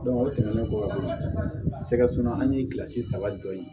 o tɛmɛnen kɔ ka ban sɛgɛ ye kilasi saba jɔ ye